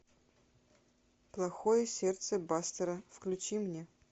плохое сердце бастера включи мне